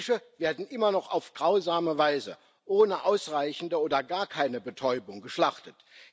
Fische werden immer noch auf grausame Weise ohne ausreichende oder gar keine Betäubung geschlachtet.